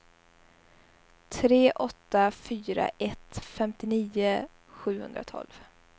tre åtta fyra ett femtionio sjuhundratolv